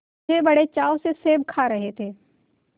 वे बड़े चाव से सेब खा रहे थे